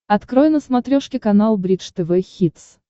открой на смотрешке канал бридж тв хитс